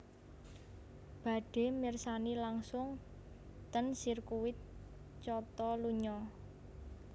Badhe mirsani langsung ten sirkuti Catalunya